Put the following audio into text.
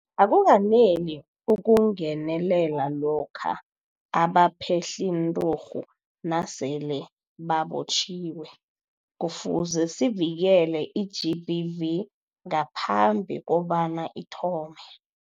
Akukaneli ukungenelela lokha abaphehlinturhu nasele babotjhiwe. Kufuze sivikele i-GBV ngaphambi kobana ithome.